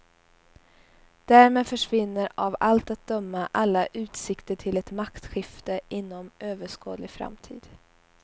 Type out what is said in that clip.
Därmed försvinner av allt att döma alla utsikter till ett maktskifte inom överskådlig framtid.